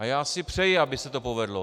A já si přeji, aby se to povedlo.